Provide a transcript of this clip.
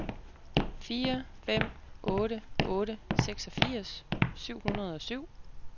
fire fem otte otte seksogfirs syv hundrede og syv